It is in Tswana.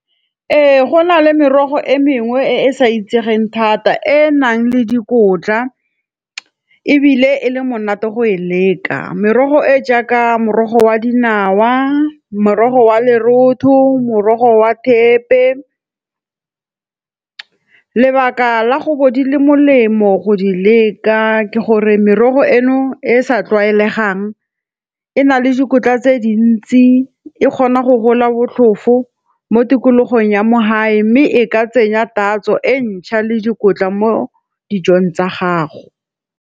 Ee, go na le merogo e mengwe e e sa itsegeng thata e e nang le dikotla ebile e le monate go e leka. Merogo e jaaka morogo wa dinawa, morogo wa lerotho, morogo wa thepe. Lebaka la go bo di le molemo go di leka ke gore merogo eno e e sa tlwaelegang, e na le dikotla tse dintsi e kgona go gola botlhofo mo tikologong ya mo gae mme e ka tsenya tatso e ntšha le dikotla mo dijong tsa gago.